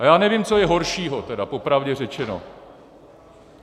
A já nevím, co je horšího tedy, popravdě řečeno.